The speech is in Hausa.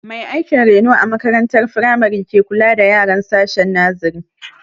Mai aikin reno a makarantar firamari ke kula da yaran sashen nasere